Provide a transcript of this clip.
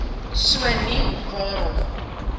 so nie waarom